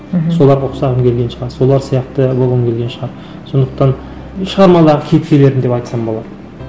мхм соларға ұқсағым келген шығар солар сияқты болғым келген шығар сондықтан шығармадағы кейіпкерлерім деп айтсам болады